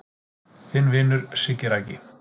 Þinn vinur Siggi Raggi